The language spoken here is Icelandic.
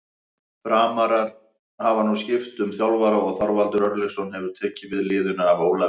Framarar hafa nú skipt um þjálfara og Þorvaldur Örlygsson hefur tekið við liðinu af Ólafi.